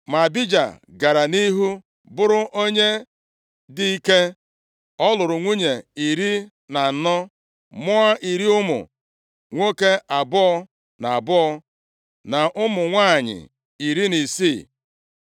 Ma Abija gara nʼihu bụrụ onye dị ike, ọ lụrụ nwunye iri na anọ, mụọ iri ụmụ nwoke abụọ na abụọ, na ụmụ ndị nwanyị iri na isii.